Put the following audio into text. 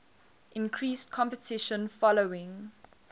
increased competition following